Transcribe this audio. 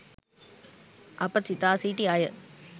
අප සිතා සිටි අය